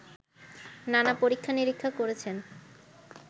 নানা পরীক্ষা-নিরীক্ষা করেছেন